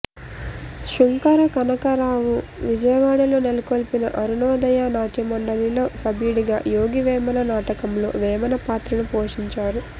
సుంకర కనకా రావు విజయవాడలో నెలకొల్పిన అరుణోదయ నాట్యమండలిలో సభ్యుడిగా యోగి వేమన నాటకంలో వేమన పాత్రను పోషించారు